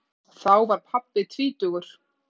Þá var pabbi tvítugur.